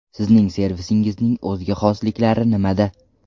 Sizning servisingizning o‘ziga xosliklari nimada?